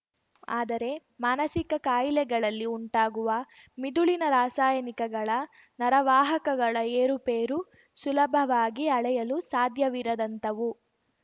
ಆದರೆ ಮಾನಸಿಕ ಕಾಯಿಲೆಗಳಲ್ಲಿ ಉಂಟಾಗುವ ಮಿದುಳಿನ ರಾಸಾಯನಿಕಗಳ ನರವಾಹಕಗಳ ಏರುಪೇರು ಸುಲಭವಾಗಿ ಅಳೆಯಲು ಸಾಧ್ಯವಿರದಂತವು